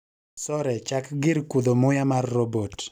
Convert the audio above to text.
Sore chak gir kudho muya mar robot